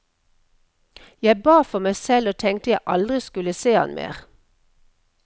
Jeg ba for meg selv og tenkte jeg aldri skulle se han mer.